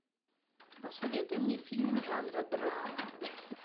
посоветуй мне фильм жанра драма